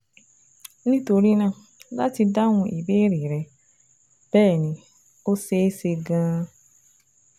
Nítorí náà, láti dáhùn ìbéèrè rẹ, bẹ́ẹ̀ ni, ó ṣeé ṣe gan-an